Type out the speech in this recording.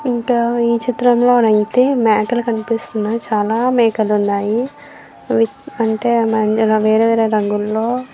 ఇంకా ఈ చిత్రంలో అయితే మేకలు కనిపిస్తున్నాయి. చాలా మేకలు ఉన్నాయి. అంటే అవి వేరే వేరే రంగుల్లో--